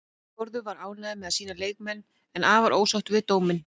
Þórður var ánægður með sína leikmenn, en afar ósáttur með dóminn.